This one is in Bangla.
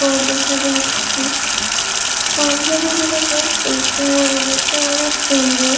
শর্ট গার্লস দেখা যাচ্ছে পাঞ্জাবি গুলো বেশ দেখতে দেখতে অনেক সুন্দর--